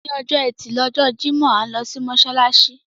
Òní ọjọ́ ẹtí lọjọ́ Jímọ̀, à ń lọ sí mọ́ṣáláṣí.